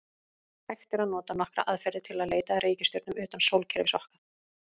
Hægt er að nota nokkrar aðferðir til að leita að reikistjörnum utan sólkerfis okkar.